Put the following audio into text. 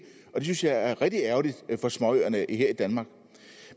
og det synes jeg er rigtig ærgerligt for småøerne her i danmark